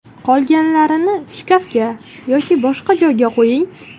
Qolganlarini shkafga yoki boshqa joyga qo‘ying.